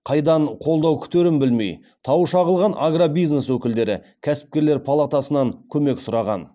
қайдан қолдау күтерін білмей тауы шағылған агробизнес өкілдері кәсіпкерлер палатасынан көмек сұраған